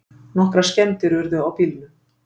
Nokkrar skemmdir urðu á bílnum